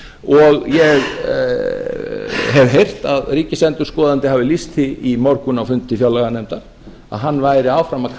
og ég hef heyrt að ríkisendurskoðandi hafi lýst því í morgun á fundi fjárlaganefndar að hann væri áfram að